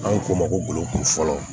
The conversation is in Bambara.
An k'o ma ko bolokoli fɔlɔ